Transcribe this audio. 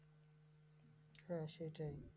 হ্যাঁ সেটাই।